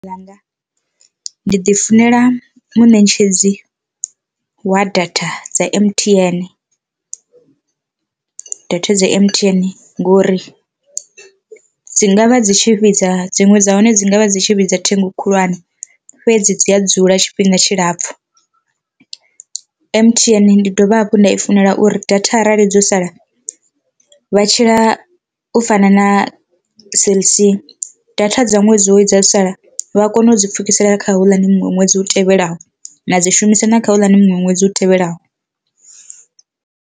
Ḽanga ndi ḓi funela munetshedzi wa data dza M_T_N, data dza M_T_N ngori dzi ngavha dzi tshi vhidza dziṅwe dza hone dzi ngavha dzi tshi vhidza ṱhengo khulwane fhedzi dzi a dzula tshifhinga tshilapfhu. M_T_N ndi dovha hafhu nda i funela uri data arali dzo sala vha tshila u fana na cell c, data dza ṅwedzi wo dza sala vha kone u dzi pfukisela kha houḽani muṅwe ṅwedzi u tevhelaho na dzi shumisa na kha houḽani muṅwe ṅwedzi u tevhelaho.